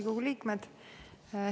Riigikogu liikmed!